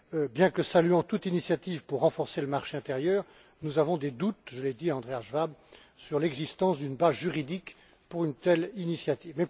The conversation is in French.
Bien que saluant toute initiative visant à renforcer le marché intérieur, nous avons des doutes, je l'ai dit à Andreas Schwab, sur l'existence d'une base juridique pour une telle initiative.